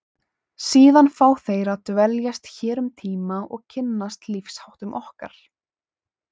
Síðan fá þeir að dveljast hér um tíma og kynnast lífsháttum okkar.